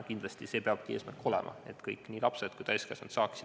Kindlasti peab meie eesmärk olema, et kõik, nii lapsed kui ka täiskasvanud, saaksid abi.